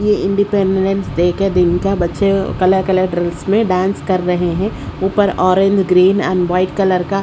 यह independence day के दिन का बच्चे कलर कलर ड्रेस में डांस कर रहे हैं ऊपर orange green and white colour का--